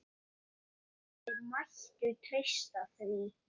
Þeir mættu treysta því.